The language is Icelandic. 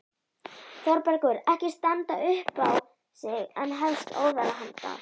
Þórbergur ekki standa upp á sig en hefst óðara handa.